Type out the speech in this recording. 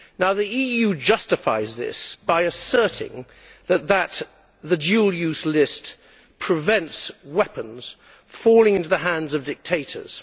The EU justifies this by asserting that the dual use list prevents weapons falling into the hands of dictators.